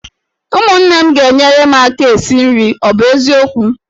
Ụmụnne m ga-enyere m aka esi nri, ọ bụ eziokwu?